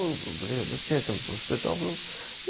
Eu falei, ó, dá licença, professor e tal.